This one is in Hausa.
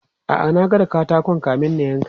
A'a, na gwada katakon kamin na yanka.